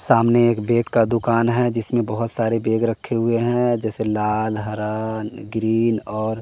सामने एक बैग का दुकान है जिसमें बहुत सारे बैग रखे हुए हैं जैसे लाल हरा ग्रीन और--